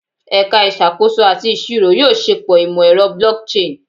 Ẹka Isakoso ati Iṣiro yoo ṣepọ imọ-ẹrọ blockchain